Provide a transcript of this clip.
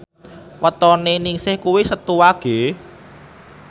wetone Ningsih kuwi Setu Wage